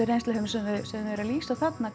reynsluheimur sem þau eru að lýsa þarna